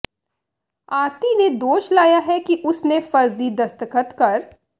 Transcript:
ਆਰਤੀ ਨੇ ਦੋਸ਼ ਲਾਇਆ ਹੈ ਕਿ ਉਸ ਨੇ ਫ਼ਰਜ਼ੀ ਦਸਤਖ਼ਤ ਕਰ